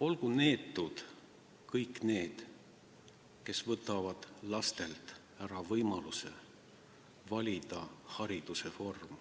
olgu neetud kõik need, kes võtavad lastelt ära võimaluse valida hariduse vormi.